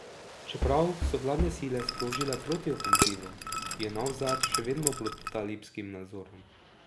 Čeprav so vladne sile sprožile protiofenzivo, je Navzad še vedno pod talibskim nadzorom.